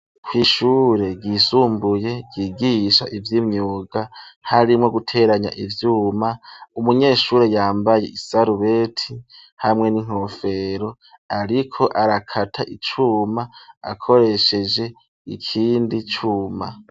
Kw'ishure ryisumbuye ryigisha ivy'imyuga harimwo guteranya ivyuma umunyeshure yambaye isarubeti hamwe n'inkofero ariko arakata icuma akoresheje ikindi cuma.